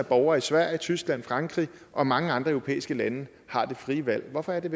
borgere i sverige tyskland og frankrig og mange andre europæiske lande har det frie valg hvorfor er det